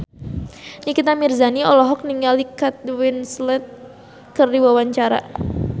Nikita Mirzani olohok ningali Kate Winslet keur diwawancara